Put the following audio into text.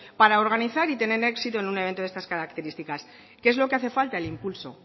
para organizar y tener éxito en un evento de estas características qué es lo que hace falta el impulso